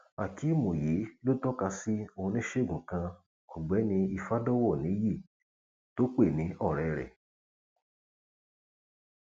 akèem yìí ló tọka sí oníṣègùn kan ọgbẹni ìfadọwọ níyì tó pè ní ọrẹ rẹ